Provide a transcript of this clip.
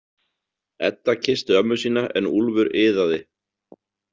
Edda kyssti ömmu sína en Úlfur iðaði.